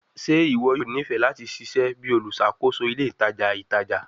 Ṣe iwọ yoo nifẹ lati ṣiṣẹ bi oluṣakoso ile itaja itaja?